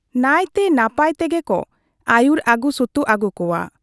ᱱᱟᱹᱭᱛᱮ ᱱᱟᱯᱟᱭᱛᱮ ᱜᱮᱠᱚ ᱟᱹᱭᱩᱨ ᱟᱹᱜᱩ ᱥᱩᱛᱩᱜ ᱟᱹᱜᱩ ᱟᱠᱚᱣᱟ ᱾